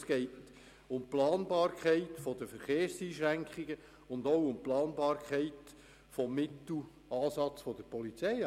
Es geht um die Planbarkeit der Verkehrseinschränkungen sowie um die Planbarkeit des Mittelansatzes der Polizei.